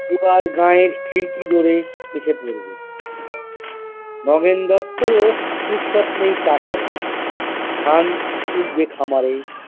এবার গাঁয়ের খিড়কি দরে এসে পড়বে নগেন দত্তরও ফুরসত নেই চা খাবার ধান উঠবে খামারে।